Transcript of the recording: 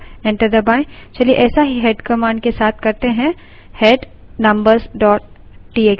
head numbers txt enter करें